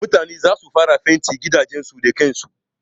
Mutane zasu koma fentin gidajen su da kan su.